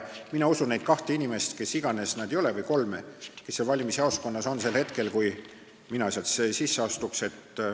Mina usun neid kahte või kolme inimest, kes iganes nad ei ole, kes valimisjaoskonnas on sel hetkel, kui mina sinna sisse astun.